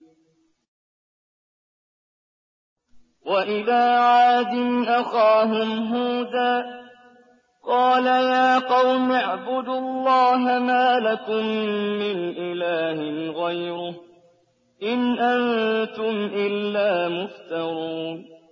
وَإِلَىٰ عَادٍ أَخَاهُمْ هُودًا ۚ قَالَ يَا قَوْمِ اعْبُدُوا اللَّهَ مَا لَكُم مِّنْ إِلَٰهٍ غَيْرُهُ ۖ إِنْ أَنتُمْ إِلَّا مُفْتَرُونَ